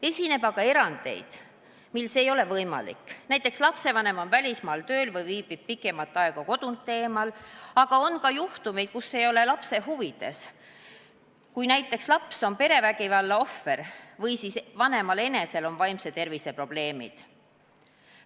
Esineb aga erandeid, kui see ei ole võimalik – näiteks on lapsevanem välismaal tööl või viibib pikemat aega kodunt eemal –, ning on ka juhtumeid, kui vanema kaasamine ei ole lapse huvides – näiteks kui laps on perevägivalla ohver või vanemal enesel on vaimse tervise probleemid.